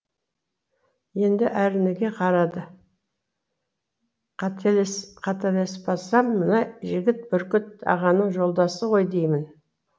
енді әрніге қарады қателеспасам мына жігіт бүркіт ағаның жолдасы ғой деймін